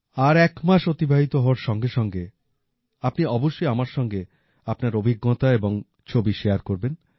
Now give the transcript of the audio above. আর এক মাস অতিবাহিত হওয়ার সঙ্গে সঙ্গে আপনি অবশ্যই আমার সঙ্গে আপনার অভিজ্ঞতা এবং ছবি শেয়ার করবেন